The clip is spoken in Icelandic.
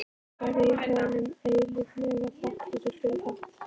Verð ég honum eilíflega þakklátur fyrir það.